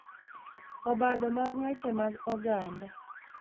Obadho mag weche mag oganda